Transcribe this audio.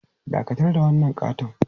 Dakatar da wannan ƙaton!